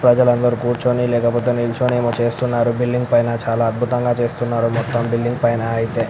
ప్రజలు అందరు కింద కూర్చొని నించొని ఎమో చేస్తున్నారు. బిల్డింగ్ పైనా చాలా అద్భుతాలు చేస్తున్నారు. మొత్తం బిల్డింగ్ పైన --